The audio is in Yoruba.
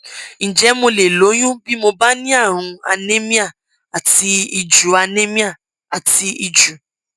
ǹjẹ mo lè lóyún bí mo bá ní àrùn anemia àti ìju anemia àti ìju